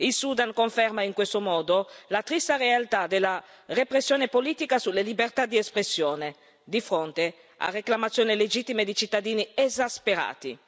Il Sudan conferma in questo modo la triste realtà della repressione politica sulle libertà di espressione, di fonte a reclamazioni legittime di cittadini esasperati.